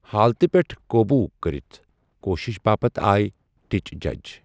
حالتہِ پٮ۪ٹھ قوبوٗ کرِتھ کوٗشش باپتھ آے ٹچ جج۔